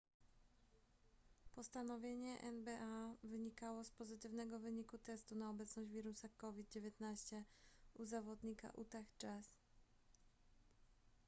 postanowienie nba wynikało z pozytywnego wyniku testu na obecność wirusa covid-19 u zawodnika utah jazz